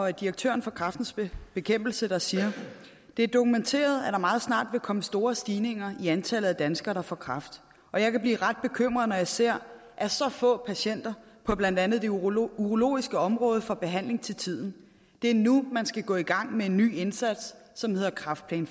af direktøren for kræftens bekæmpelse der siger det er dokumenteret at der meget snart vil komme store stigninger i antallet af danskere der får kræft og jeg kan blive ret bekymret når jeg ser at så få patienter på blandt andet det urologiske urologiske område får behandling til tiden det er nu man skal gå i gang med en ny indsats som hedder kræftplan